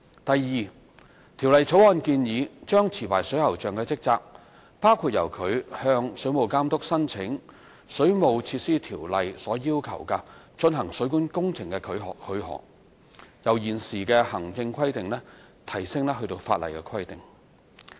第二，《條例草案》建議將持牌水喉匠的職責，包括由他向水務監督申請《水務設施條例》要求的進行水管工程許可，由現時的行政規定提升至法例規定。